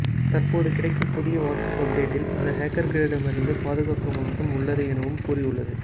தற்போது கிடைக்கும் புதிய வாட்ஸ்ஆப் அப்டேட்டில் அந்த ஹேக்கர்களிடம் இருந்து பாதுகாக்கும் அம்சம் உள்ளது எனவும் கூறியுள்ளது